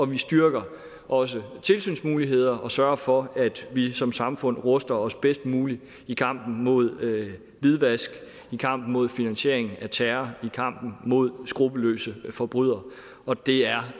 vi styrker også tilsynsmulighederne og sørger for at vi som samfund ruster os bedst muligt i kampen mod hvidvask i kampen mod finansiering af terror i kampen mod skruppelløse forbrydere og det er